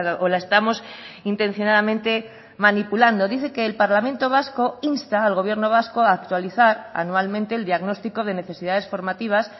o la estamos intencionadamente manipulando dice que el parlamento vasco insta al gobierno vasco a actualizar anualmente el diagnóstico de necesidades formativas